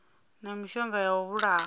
na mishonga ya u vhulaha